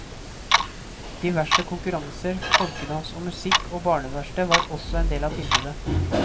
Diverse konkurranser, folkedans og musikk og barneverksted var også en del av tilbudet.